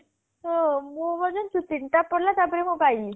ହଁ ମୁଁ ବା ଜାଣିଛୁ ତିନଟା ପଡିଲା ତା ପରେ ମୁଁ ପାଇଲି